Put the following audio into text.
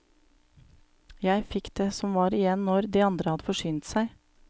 Jeg fikk det som var igjen når de andre hadde forsynt seg.